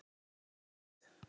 til hvers.